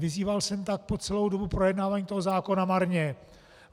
Vyzýval jsem tak po celou dobu projednávání toho zákona marně.